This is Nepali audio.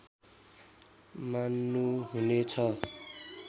मान्नु हुने छ